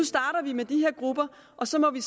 starter vi med de her grupper og så må vi